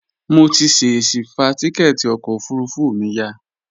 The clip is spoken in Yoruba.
Mo ti ṣèṣi fa tíkẹ́ẹ̀tì ọkọ̀ òfurufú mi ya